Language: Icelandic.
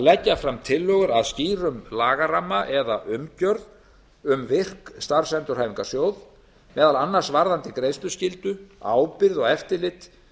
að leggja fram tillögur að skýrum lagaramma eða umgjörð um virk starfsendurhæfingarsjóð meðal annars um greiðsluskyldu ábyrgð og eftirlit